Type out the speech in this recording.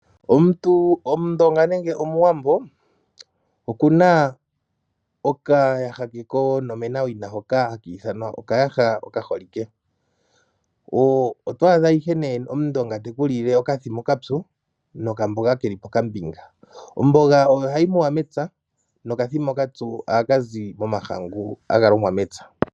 Omuntu Omundonga nenge Omuwambo oku na okayaha ke konomenawina hoka haki ithanwa okaaha okaholike. Oto adha ihe nee Omundonga te ku lile okathima okapyu nokamboga ke li pokambinga. Omboga oyo hayi muwa mepya nokathima okapyu ohaka zi momahangu haga longwa mepya.